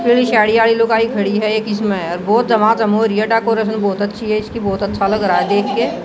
पूरी शाडीआइ लुगाई खड़ी है एक इसमें और बहुत दमादम हो रही है डाकोरेशन बहोत अच्छी है इसकी बहोत अच्छा लग रहा है देखके।